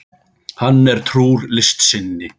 Hann er trúr list sinni.